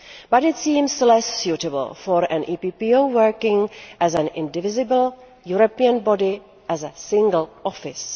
But it seems less suitable for an EPPO working as an indivisible, European body as a single Office.